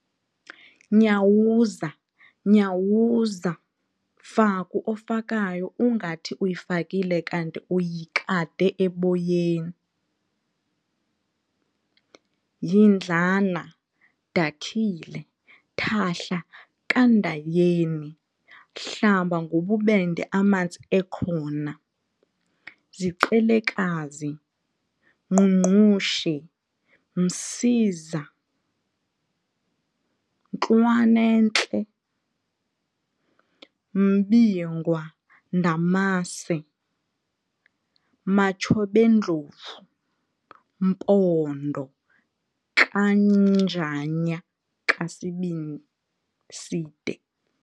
Nyawuza- Nyawuza, Faku ofakayo ungathi uyifakile kanti uyikade eboyeni, Yindlana, Dakhile, Thahla kaNdayeni, Hlamba ngobubende amanzi ekhona, Ziqelekazi, Ngqungqushe, Msiza, Ntlwana'ntle, Mbingwa, Ndamase, Matshob'endlovu, Mpondo kaNjanya kaSibiside